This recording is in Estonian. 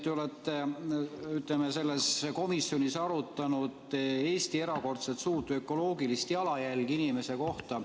Te olete komisjonis arutanud Eesti erakordselt suurt ökoloogilist jalajälge inimese kohta.